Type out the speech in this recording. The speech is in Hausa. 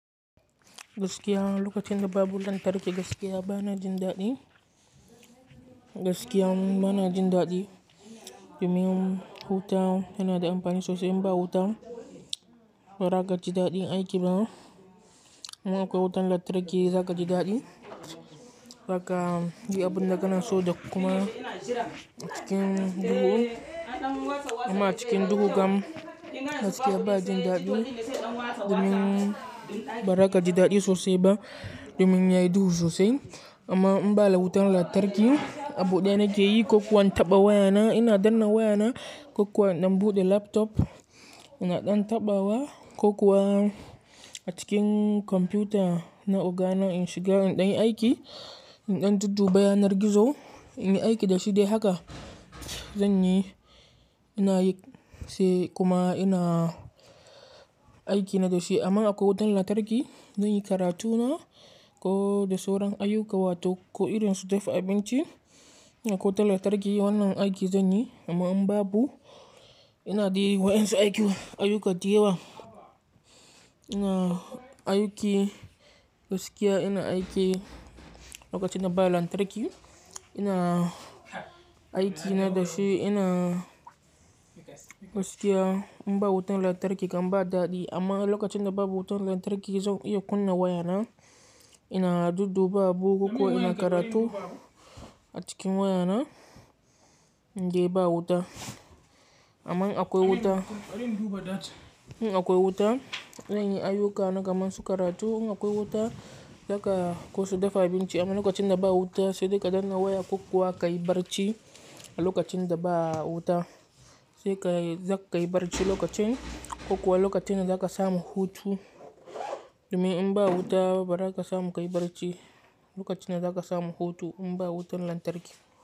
Gaskiya lokacin da babu lantarki gaskiya ba na jin daɗi. Gaskiya ban jin daɗi domin huta yana da amfani sosai in ba wuta baraka ji daɗi aiki bana. Amma akwai wutan lantarki zaka ji daɗi. Raka yi abun da ka naso da kuma cikin duhu. Amma cikin duhu kam gaskiya ba jin daɗi domin ba raka ji daɗi sosai ba domin yayi duhu sosai. Amma in ba da wutan lantarki, abu ɗaya nake yi, kokawan tabbawa wayana ina danna wayana, kokawa in buɗe laptop ina ɗan tabbawa, kokawa a cikin kwamfuta na ogana in shiga in ɗan yi aiki, in ɗan dudduba yanar gizo in yi aiki da shi dai haka zan yi. Ina yi se kuma ina aiki na da shi amma akwai wutan lantarki zan yi karatuna ko da sauran ayuka wato ko irin su dafa abinci. In akwai wutan lantarki wannan aiki zan yi amma in babu ina yi wa'ins aiki, ayuka diyaba. Ina aiki gaskiya ina aiki lokacin da ba lantarki, ina aiki na da shi ina gaskiya in ba wutan lantarki kam ba daɗi amma lokacin da babu wutan lantarki yanzu iya kunna wayana ina dudduba abu ko ina karatu a cikin wayana in de ba wuta. Amma in akwai wuta, in akwai wuta zan yi ayuka na gaman su karatu. In akwai wuta, haka ko su dafa abinci amma lokacin da ba wuta sai dai ka danna waya kokawa ka yi barci a lokacin da ba wuta. Sai ka, zaka yi barci lokacin kokawa lokacin da zaka samu hutu. Domin in ba wuta baraka samu ka yi barci lokacin da zaka samu hutu in ba wutan lantarki.